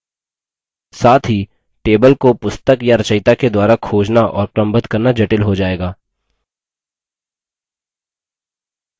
साथ ही table को पुस्तक या रचयिता के द्वारा खोजना और क्रमबद्ध करना जटिल हो जाएगा